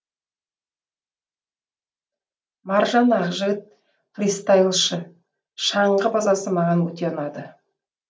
маржан ақжігіт фристайлшы шаңғы базасы маған өте ұнады